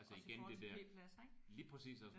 Også i forhold til p-pladser ik?